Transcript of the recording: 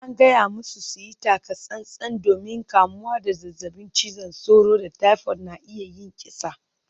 An gaya musu su yi taka-tsan-tsan domin kamuwa da zazzabin cizon sauro da typhoid na iya yin kisa.